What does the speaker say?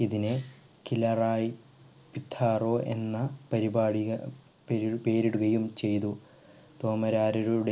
ഇതിനെ കിലാറായി പിത്താറോ എന്ന പരിപാടിക പെരു പേരിടുകയും ചെയ്‌തു തോമരാരരു